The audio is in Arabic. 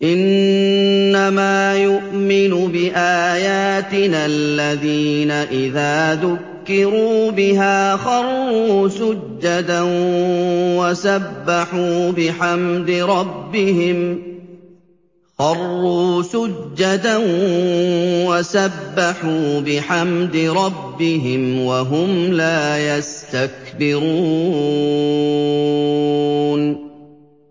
إِنَّمَا يُؤْمِنُ بِآيَاتِنَا الَّذِينَ إِذَا ذُكِّرُوا بِهَا خَرُّوا سُجَّدًا وَسَبَّحُوا بِحَمْدِ رَبِّهِمْ وَهُمْ لَا يَسْتَكْبِرُونَ ۩